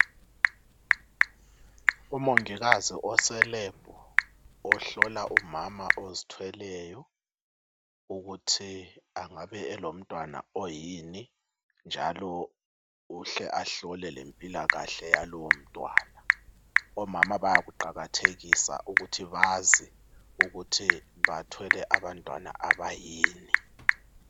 Umongikazi ose lab, ohlola umama ozithweleyo. Ukuthi angabe elomntwana oyini, njalo uhle ahlole lempilakahle yalowo mntwana. Omama bayakuqakathekisa ukuthi bazi ukuthi bathwele abantwana abayini.